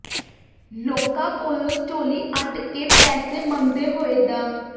ਲੋਕਾਂ ਕੋਲੋਂ ਝੋਲੀ ਅੱਡ ਕੇ ਪੈਸੇ ਮੰਗਦੇ ਹੋਏ ਡਾ